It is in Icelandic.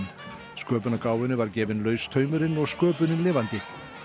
sköpunargáfunni var gefinn laus taumurinn og sköpunin lifandi